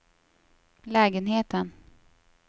lägenheten